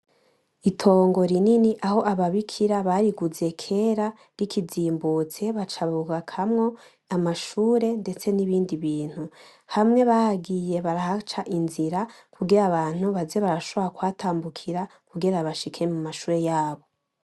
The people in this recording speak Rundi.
Itongo rinini aho ababikira bariguze kera rikizimbutse baca bubakamwo amashure ndetse n'ibindi bintu, hamwe bagiye barahaca inzira kugira abantu baze barashobora kuhatambukira kugira bashike mu mashuri yabo.